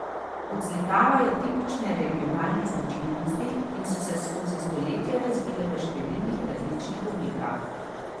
Odslikavajo tipične regionalne značilnosti in so se skozi stoletja razvile v številnih različnih oblikah.